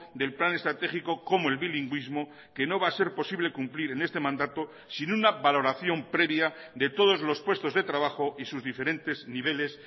del plan estratégico como el bilingüismo que no va a ser posible cumplir en este mandato sin una valoración previa de todos los puestos de trabajo y sus diferentes niveles